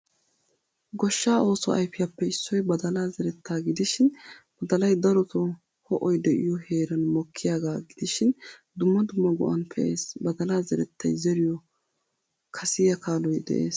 Goshshaa oosuwaa ayfiyappe issoy badalaa zerettaa gidishin; badalay darotto ho'oy de'iyo heeran mokkiyaga gidishin dumma dumma go'an pe'ees. Badalaaa zerettay zeriyo kasiya kaaloy de'ees.